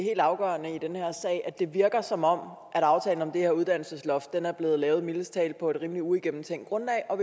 det virker som om at aftalen om det her uddannelsesloft er blevet lavet mildest talt på et uigennemtænkt grundlag og